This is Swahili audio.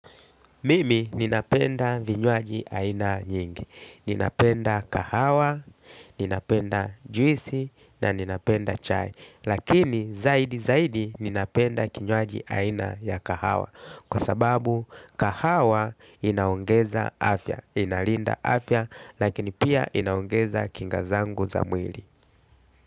Mimi ninapenda vinywaji aina nyingi, ninapenda kahawa, ninapenda juisi na ninapenda chai. Lakini zaidi zaidi ninapenda kinywaji aina ya kahawa. Kwa sababu kahawa inaongeza afya, inalinda afya lakini pia inaongeza kingazangu za mwili.